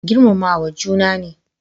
Girmamawa juna ne